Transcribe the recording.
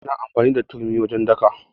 Ana amfani da turmi wajen daka.